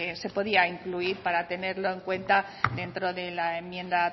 se podía incluir para tenerlo en cuenta dentro de la enmienda